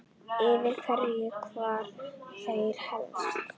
Yfir hverju kvarta þeir helst?